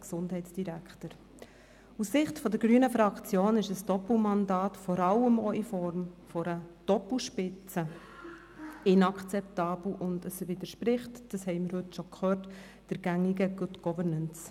Aus Sicht der grünen Fraktion ist ein Doppelmandat, vor allem auch in Form einer Doppelspitze, inakzeptabel und widerspricht, wie wir schon gehört haben, den gängigen Good-Governance-Regeln.